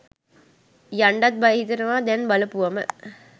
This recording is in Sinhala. යන්ඩත් බය හිතෙනවා දැන් බලපුවම.